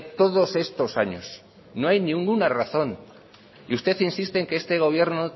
todos estos años no hay ninguna razón y usted insiste en que este gobierno